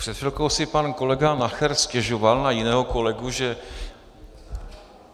Před chvilkou si pan kolega Nacher stěžoval na jiného kolegu, že...